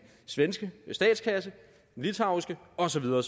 svenske statskasse i litauiske og så videre